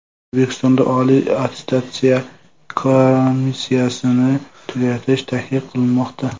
O‘zbekistonda Oliy attestatsiya komissiyasini tugatish taklif qilinmoqda.